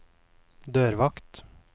dørvakt